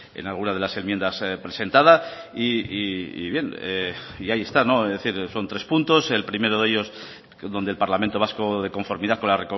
en algunas de las enmiendas presentadas y bien ahí está decir son tres puntos el primero de ello s donde el parlamento vasco de conformidad con la